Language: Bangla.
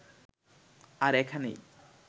আর এখানেই